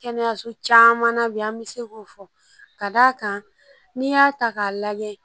Kɛnɛyaso caman na bi an bɛ se k'o fɔ ka d'a kan n'i y'a ta k'a lajɛ